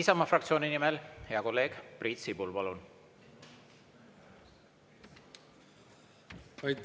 Isamaa fraktsiooni nimel hea kolleeg Priit Sibul, palun!